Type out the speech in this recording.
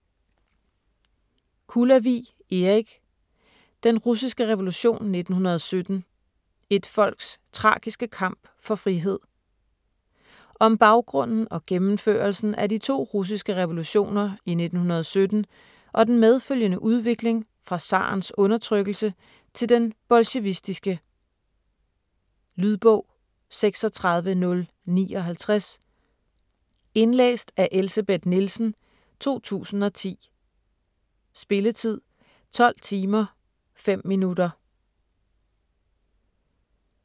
Kulavig, Erik: Den russiske revolution 1917: et folks tragiske kamp for frihed Om baggrunden og gennemførelsen af de 2 russiske revolutioner i 1917 og den medfølgende udvikling fra zarens undertrykkelse til den bolsjevistiske. Lydbog 36059 Indlæst af Elsebeth Nielsen, 2010. Spilletid: 12 timer, 5 minutter.